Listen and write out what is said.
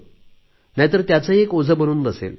नाहीतर त्याचेही एक ओझे बनून बसेल